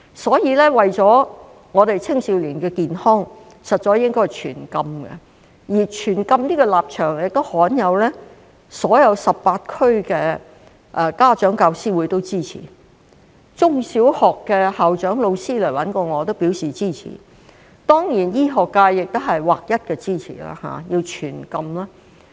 所以，為了青少年的健康，實在應該全禁，而全禁這個立場亦罕有地得到全港18區家長教師會的支持，中小學的校長和老師也來找我表示支持，當然，醫學界亦劃一支持全禁。